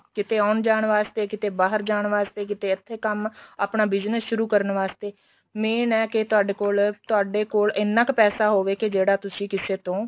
ਕੀਤੇ ਆਉਣ ਜਾਣ ਵਾਸਤੇ ਕਿਤੇ ਬਾਹਰ ਜਾਣ ਵਾਸਤੇ ਕੀਤੇ ਇੱਥੇ ਕੰਮ ਆਪਣਾ business ਸ਼ੁਰੂ ਕਰਨ ਵਾਸਤੇ ਮੈਂ ਏ ਕੇ ਤੁਹਾਡੇ ਕੋਲ ਏਨਾ ਕ ਪੈਸਾ ਹੋਵੇ ਕੇ ਜਿਹੜਾ ਤੁਸੀਂ ਕਿਸੇ ਤੋਂ